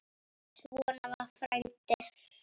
Svona var frændi.